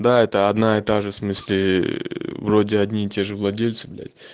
да это одна и та же в смысле вроде одни и те же владельцы блять